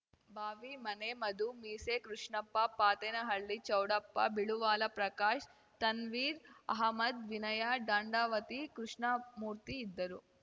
ಬಾವಿ ಮನೆ ಮಧು ಮೀಸೆ ಕೃಷ್ಣಪ್ಪ ಪಾತೇನಹಳ್ಳಿ ಚೌಡಪ್ಪ ಬಿಳುವಾಲ ಪ್ರಕಾಶ್‌ ತನ್ವೀರ್‌ ಆಹಮದ್‌ ವಿನಯ ದಾಂಡಾವತಿ ಕೃಷ್ಣಮೂರ್ತಿ ಇದ್ದರು